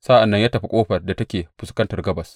Sa’an nan ya tafi ƙofar da take fuskantar gabas.